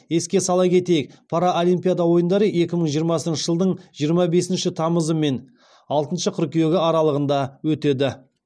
еске сала кетейік паралимпиада ойындары екі мың жиырмасыншы жылдың жиырма бесінші тамызы мен алтыншы қыркүйегі аралығында өтеді